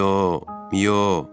Miyo, miyo.